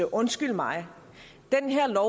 undskyld mig den her